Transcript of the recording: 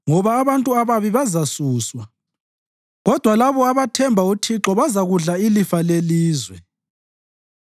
Ngoba abantu ababi bazasuswa, kodwa labo abathemba uThixo bazakudla ilifa lelizwe.